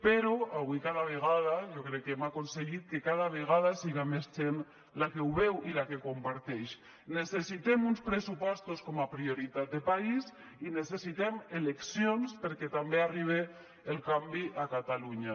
però avui cada vegada jo crec que hem aconseguit que cada vegada siga més gent la que ho veu i la que ho comparteix necessitem uns pressupostos com a prioritat de país i necessitem eleccions perquè també arribe el canvi a catalunya